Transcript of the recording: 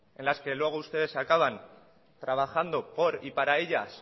en las que luego ustedes acaban trabajando por y para ellas